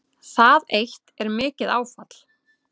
Það eitt er mikið áfall